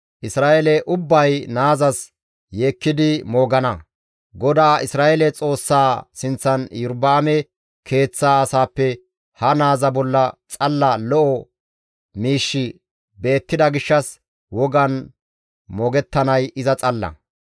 Isra7eele ubbay naazas yeekkidi moogana; GODAA Isra7eele Xoossaa sinththan Iyorba7aame keeththa asaappe ha naaza bolla xalla lo7o miishshi beettida gishshas wogan moogettanay iza xalla.